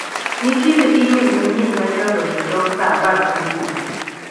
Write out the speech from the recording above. Nitiere imel manyien mane odonjo tok saa apar kawuono.